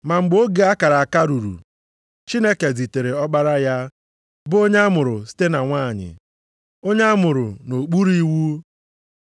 Ma mgbe oge a kara aka ruru, Chineke zitere Ọkpara ya, bụ onye amụrụ site na nwanyị, onye amụrụ nʼokpuru iwu,